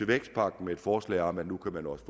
vækstpakken med et forslag om at man også